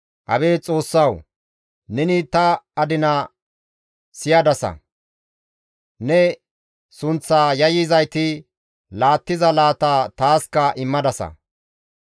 Abeet Xoossawu! Neni ta adina siyadasa; ne sunththa yayyizayti laattiza laata taaska immadasa.